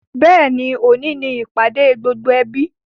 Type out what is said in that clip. Bẹ́ẹ̀ni, òní ni ìpàdé gbogbo ẹbí